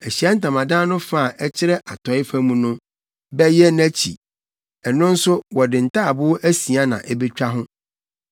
Ahyiae Ntamadan no fa a ɛkyerɛ atɔe fam no bɛyɛ nʼakyi. Ɛno nso wɔde ntaaboo asia na ebetwa ho